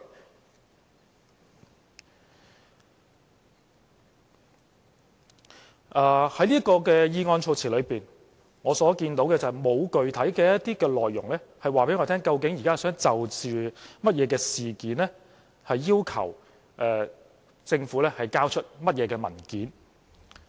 就着這項議案措辭，當中沒有具體內容可以告訴我們，究竟現在他想就甚麼事件要求政府交出甚麼文件。